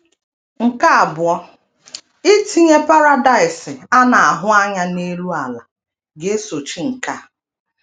Nke abụọ, itinye paradaịs a na - ahụ anya n’elu ala ga - esochi nke a.